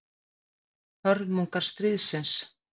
hörmungar stríðsins